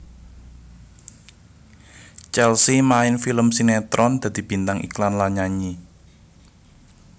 Chelsea main film sinetron dadi bintang iklan lan nyanyi